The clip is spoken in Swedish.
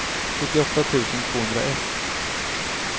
sjuttioåtta tusen tvåhundraett